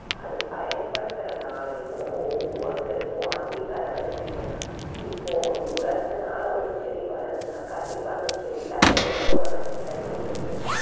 அது பயன்படுத்துறதுனாலயும் ஒவ்வொருத்தருக்கும் அதிக அளவில தீமை தான். இப்போ ஒரு உரத்தினால ஒரு செடி வளருதுன்னா கண்டிப்பா அந்தச் செடியில அந்த உரத்தோட நச்சுத்தன்மை இருக்கும்.